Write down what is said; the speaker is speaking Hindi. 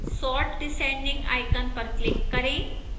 sort descending icon पर click करें